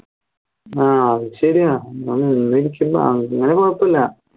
ആഹ് അത് ശരിയാണ് അങ്ങനെ കുഴപ്പല്ല